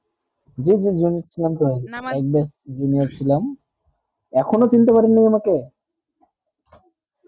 জী জী junior ছিলাম তো junior ছিলাম এখনো চিনতে পারি নি আমাকে